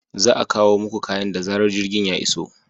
Za a kawo muku kayan da zarar jirgin ya iso.